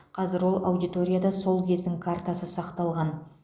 қазір ол аудиторияда сол кездің картасы сақталған